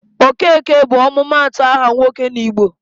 Okeke bụ ọmụmaatụ aha nwoke n'Igbo.